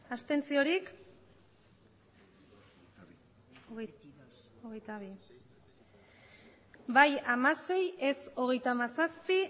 abstentzioak bai hamasei ez hogeita hamazazpi